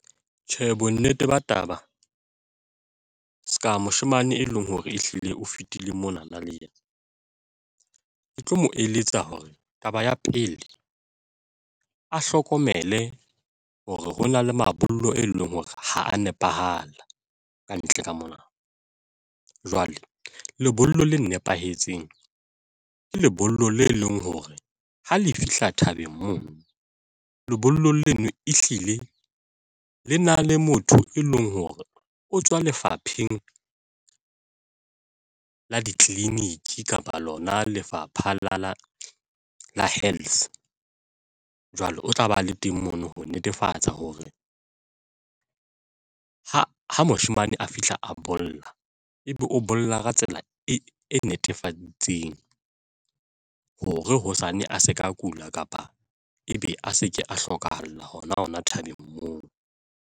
Tjhe, bonnete ba taba se ka moshemane e leng hore ehlile o fetile mona na le yena. Ke tlo mo eletsa hore taba ya pele a hlokomele hore ho na le mabollo e leng hore ha a nepahala ka ntle ka mona. Jwale lebollo la nepahetseng ke lebollo le leng hore ha le fihla thabeng mono lebollo leno ehlile le na le motho, e leng hore o tswa lefapheng la ditleliniki kapa lona Lefapha la Health jwale o tla ba le teng mono ho netefatsa hore ha moshemane a fihla a bolla, ebe o bolella ka tsela e netefaditsweng hore hosane a se ka kula, kapa ebe a se ke a hlokahalla hona hona thabeng moo.